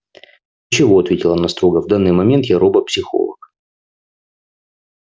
ничего ответила она строго в данный момент я робопсихолог